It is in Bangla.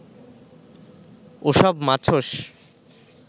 ওসব মাছস